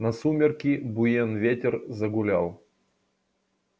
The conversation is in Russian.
на сумерки буен ветер загулял